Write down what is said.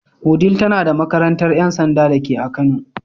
Wudil tana da makarantar ‘yan sanda dake a kano.